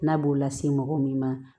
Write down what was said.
N'a b'o la se mɔgɔ min ma